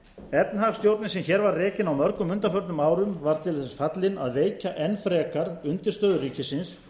efnahagsstjórnin sem hér var rekin á mörgum undanförnum árum var til þess fallin að veikja enn frekar undirstöður ríkisins